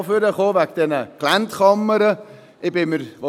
Ich bin eigentlich auch wegen dieser Geländekammern nach vorn gekommen.